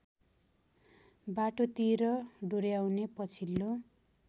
बाटोतिर डोर्‍याउने पछिल्लो